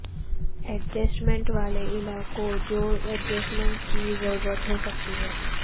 adjustment والے علاقوں جو ایڈجسٹمنٹ کی ضرورت ہو سکتی ہے